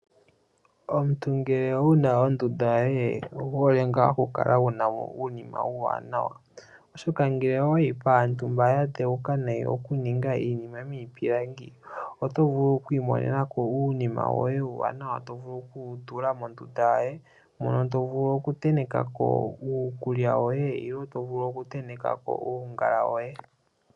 Omuntu ngele wuna ondunda yoye owu hole ngaa oku kala wuna mo uunima uuwaanawa, oshoka ngele owayi paantu mba ya dheuka nayi okuninga iinima miipilangi. Oto vulu oku imonena ko uunima woye uuwaanawa, to vulu oku wu tenteka mondunda yoye , mono to vulu oku tenteka ko uukulya woye nenge to vulu oku tenteka ko uungala woye.